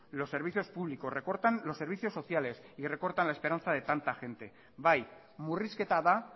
los servicios públicos recortan los servicios sociales y recortan la esperanza de tanta gente bai murrizketa da